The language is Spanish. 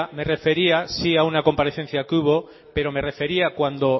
me refería a una comparecencia que hubo pero me refería cuando